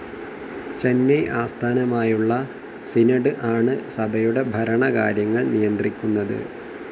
ചെന്നൈ ആസ്ഥാനമായുള്ള സിനോഡ്‌ ആണ് സഭയുടെ ഭരണകാര്യങ്ങൾ നിയന്ത്രിക്കുന്നത്.